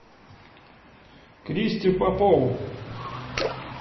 кристю попову